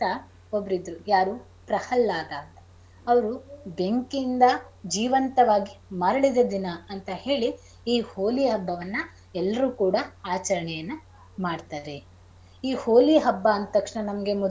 ಒಬ್ರಿದ್ರು ಯಾರು ಪ್ರಹಲ್ಲಾದ ಅವ್ರು ಬೆಂಕಿಯಿಂದ ಜೀವಂತವಾಗಿ ಮರಳಿದ ದಿನ ಅಂತ ಹೇಳಿ ಈ ಹೋಳಿ ಹಬ್ಬವನ್ನ ಎಲ್ರೂ ಕೂಡ ಆಚರಣೆಯನ್ನ ಮಾಡ್ತಾರೆ. ಈ ಹೋಳಿ ಹಬ್ಬ ಅಂದ್ ತಕ್ಷಣ ನಮ್ಗೆ ಮೊದಲು.